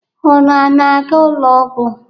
Unu ana-aga ụlọ ọgwọ?